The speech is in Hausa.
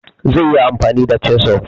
zaiyi amfani da chisel